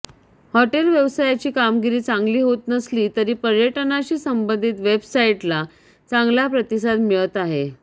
hotel व्यवसायाची कामगिरी चांगली होत नसली तरी पर्यटनाशी संबंधित वेबसाइटला चांगला प्रतिसाद मिळत आहे